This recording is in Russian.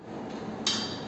салют карла моррисон